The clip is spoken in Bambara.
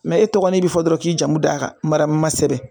e tɔgɔ n'i bɛ fɔ dɔrɔn k'i jamu d'a kan mara ma sɛbɛn